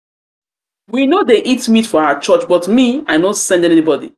we no dey eat meat for our church but me i no send anybody.